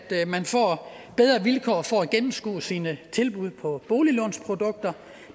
man får bedre vilkår for at gennemskue sine tilbud på boliglånsprodukter